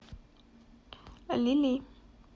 лили